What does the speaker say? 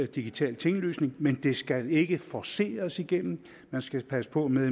digital tinglysning men det skal ikke forceres igennem man skal passe på med